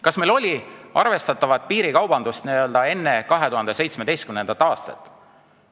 Kas meil oli arvestatavat piirikaubandust enne 2017. aastat?